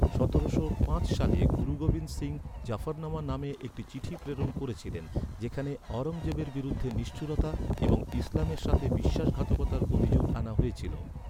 সতেরোশো পাঁচ সালে, গুরু গোবিন্দ সিং জাফরনামা নামে একটি চিঠি প্রেরণ করেছিলেন, যেখানে আওরঙ্গজেবের বিরুদ্ধে নিষ্ঠুরতা এবং ইসলামের সাথে বিশ্বাসঘাতকতার অভিযোগ আনা হয়েছিল।